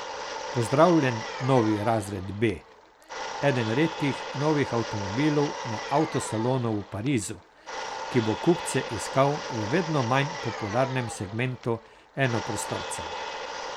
Pozdravljen novi razred B, eden redkih novih avtomobilov na avto salonu v Parizu, ki bo kupce iskal v vedno manj popularnem segmentu enoprostorcev.